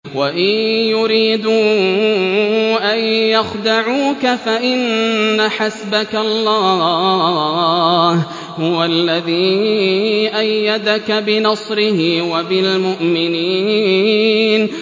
وَإِن يُرِيدُوا أَن يَخْدَعُوكَ فَإِنَّ حَسْبَكَ اللَّهُ ۚ هُوَ الَّذِي أَيَّدَكَ بِنَصْرِهِ وَبِالْمُؤْمِنِينَ